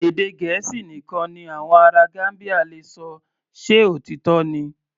Èdè Gẹ̀ẹ́sì nìkan ni àwọn ará Gambia le ṣọ, ṣe òtítọ́ ni?